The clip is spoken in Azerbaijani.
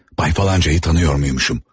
Bəy filancanı tanıyırmışam?